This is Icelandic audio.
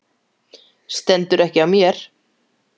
Stendur ekki á mér.